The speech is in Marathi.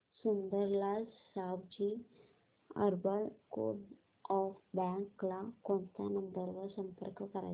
Sundarlal Savji urban coop bank ला कोणत्या नंबर वर संपर्क करायचा